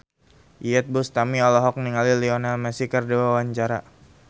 Iyeth Bustami olohok ningali Lionel Messi keur diwawancara